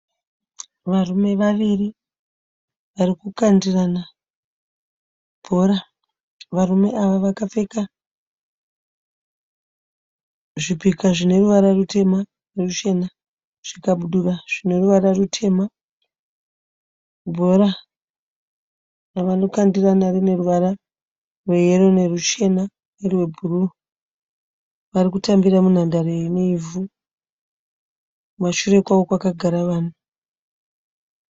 Varume vaviri vari kukandirana bhora. Varume ava vakapfeka zvipika zvine ruvara rutema neruchena. Zvikabudura zvine ruvara rutema. Bhora ravanokandirana rine ruvara rweyero neruchena nerwebhuruu. Vari kutambira munhandare ine ivhu. Kumashure kwavo kwakagara vanhu.